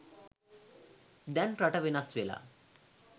දැන් රට වෙනස් වෙලා.